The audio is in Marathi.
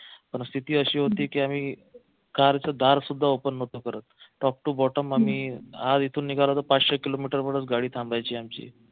परिस्थिती अशी होती की आम्ही car च दार सुद्धा open नव्हतो करत top to bottom आम्ही इथून निघालो तर पाचशे किलोमीटरवरच गाडी थांबायची आमची